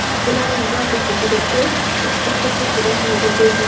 Bularning barchasi juda tez, uch daqiqa ichida sodir bo‘lgan.